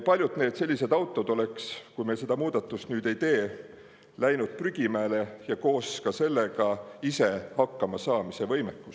Kui me seda muudatust ei teeks, läheks paljud sellised autod prügimäele ja koos sellega ka ise hakkamasaamise võimekus.